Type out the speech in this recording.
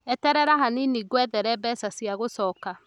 Eterera hanini ngwethere bia cia gũcoka